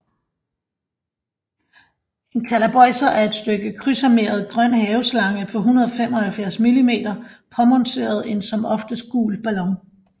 En kalapøjser er et stykke krydsarmeret grøn haveslange på 175 mm påmonteret en som oftest gul ballon